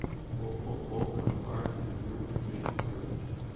ооо компания ю три центр